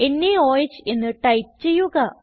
നോഹ് എന്ന് ടൈപ്പ് ചെയ്യുക